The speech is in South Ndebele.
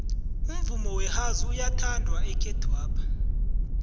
umvumo wehouse uyathandwa ekhethwapha